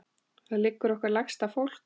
Þar liggur okkar lægsta fólk.